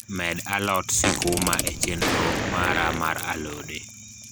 med a lot sikuma e chenro mara mar alode